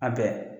A bɛɛ